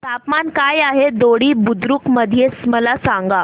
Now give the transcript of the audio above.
तापमान काय आहे दोडी बुद्रुक मध्ये मला सांगा